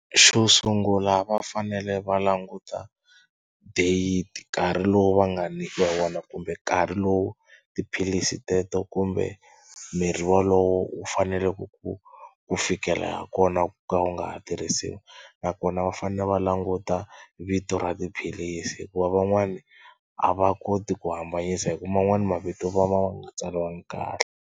Xo sungula va fanele va languta date nkarhi lowu va nga nyikiwa wona kumbe nkarhi lowu tiphilisi teto kumbe mirhi wolowo wu faneleke ku ku fikela kona ku ka wu nga ha tirhisiwi nakona va fanele va languta vito ra tiphilisi hikuva van'wana a va koti ku hambanyisa hi ku man'wana mavito ma va ma nga tsaliwanga kahle.